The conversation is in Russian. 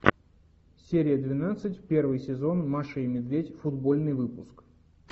серия двенадцать первый сезон маша и медведь футбольный выпуск